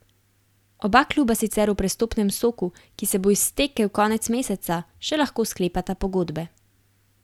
Oba kluba sicer v prestopnem soku, ki se bo iztekel konec meseca, še lahko sklepata pogodbe.